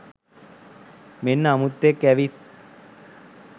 මෙන්න අමුත්තෙක් ඇවිත්